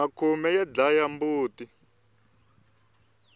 makhume ya dlaya timbuti